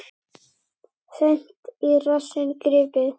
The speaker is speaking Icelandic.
Seint í rassinn gripið.